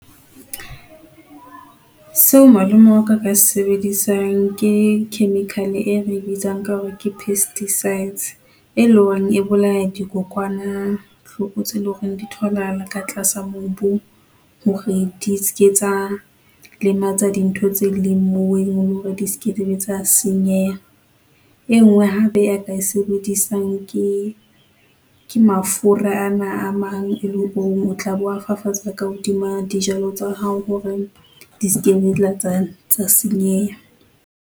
Seo malome waka aka se sebedisang ke chemical-e e re e bitsang ka hore ke pesticides e leng hore e bolaya dikokwanahloko tseo eleng hore di tholahala ka tlasa mobu hore di ske tsa lematsa dintho tse leng moo ele hore di skebe tsa senyeha. Enngwe hape ya ka e sebedisang ke, ke mafura ana a mang eleng hore o tla be o a fafatsa ka hodima dijalo tsa hao hore di skabe tsa tsa senyeha.